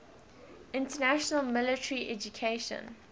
international military education